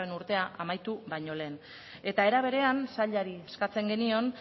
urtea amaitu baino lehen eta era berean sailari eskatzen genion